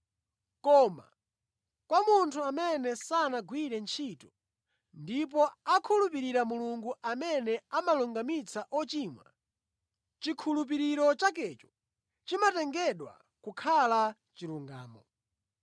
Koma kwa munthu amene sanagwire ntchito ndipo akhulupirira Mulungu amene amalungamitsa ochimwa, chikhulupiriro chakecho chimatengedwa kukhala chilungamo.